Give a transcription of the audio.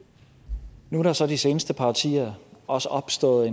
nu er der så de seneste par årtier også opstået